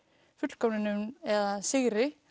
fullkomnun eða sigri